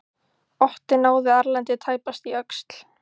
Otti náði Erlendi tæpast í öxl.